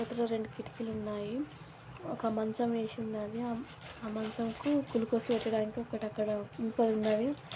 లోపల రెండు కిటికీలు ఉన్నాయ్ ఒక మంచం వేసి ఉన్నది ఆ మంచంపై కుళ్లుకోసు పెట్టడానికి ఒకటి అక్కడ ఇంకో ఉన్నావి.